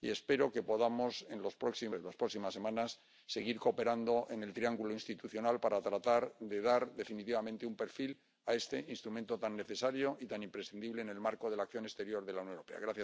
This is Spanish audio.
espero que podamos en las próximas semanas seguir cooperando en el triángulo institucional para tratar de dar definitivamente un perfil a este instrumento tan necesario y tan imprescindible en el marco de la acción exterior de la Unión Europea.